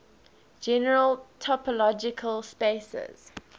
general topological spaces